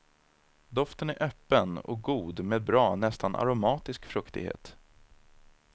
Doften är öppen och god med bra, nästan aromatisk fruktighet.